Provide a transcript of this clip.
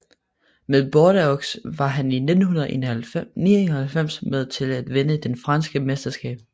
Med Bordeaux var han i 1999 med til at vinde det franske mesterskab